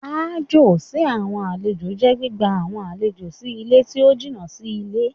Aájò sí àwọn àlejò jẹ́ gbígba àwọn àlejò sí ilé tí ó jìnà sí ilé.